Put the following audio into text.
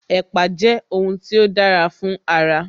Ẹ̀pà jẹ́ ohun tí ó dára fún ara